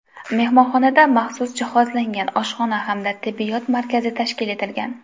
Mehmonxonada maxsus jihozlangan oshxona hamda tibbiyot markazi tashkil etilgan.